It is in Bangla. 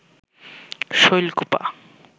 শৈলকুপা